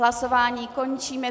Hlasování končím.